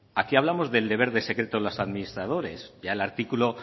aquí hablamos del deber de secreto de los administradores y el artículo